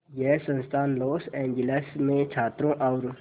यह संस्थान Los Angeles में छात्रों और